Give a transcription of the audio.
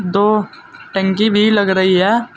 दो टंकी भी लग रही है।